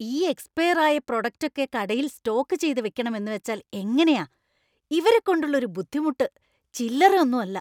ഈ എക്സ്പയർ ആയ പ്രോഡക്ട് ഒക്കെ കടയിൽ സ്റ്റോക്ക് ചെയ്ത് വെക്കണം എന്നുവെച്ചാൽ എങ്ങനെയാ! ഇവരെക്കൊണ്ടുള്ള ഒരു ബുദ്ധിമുട്ട് ചില്ലറ ഒന്നും അല്ല.